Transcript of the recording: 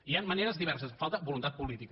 hi han maneres diverses falta voluntat política